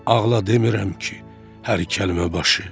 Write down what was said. Ağla demirəm ki, hər kəlmə başı.